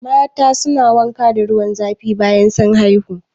Mata su na wanka da ruwan zafi bayan sun haihu